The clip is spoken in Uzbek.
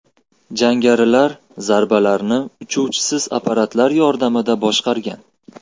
Jangarilar zarbalarni uchuvchisiz apparatlar yordamida boshqargan.